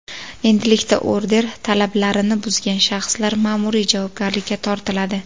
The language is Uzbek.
Endilikda order talablarini buzgan shaxslar ma’muriy javobgarlikka tortiladi.